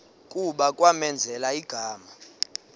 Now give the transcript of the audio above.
kuba kwamenzela igama